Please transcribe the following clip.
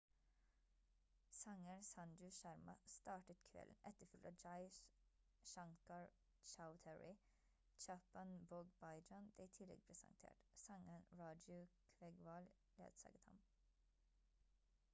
sangeren sanju sharma startet kvelden etterfulgt av jai shankar choudhary chhappan bhog bhajan ble i tillegg presentert sangeren raju kvegwal ledsaget ham